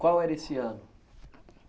Qual era esse ano?